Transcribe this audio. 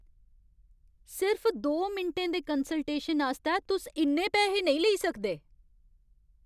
सिर्फ दो मिंटें दे कंसलटेशन आस्तै तुस इन्ने पैहे नेईं लेई सकदे!